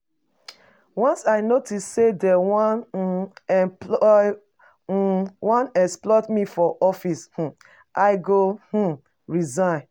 Once I notice sey dey um wan exploit um wan exploit me for office, I go um resign.